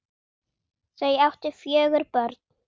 Þau áttu fjögur börn.